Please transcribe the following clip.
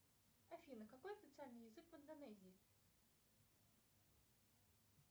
афина какой официальный язык в индонезии